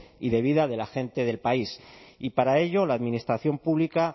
y de vida de la gente del país y para ello la administración pública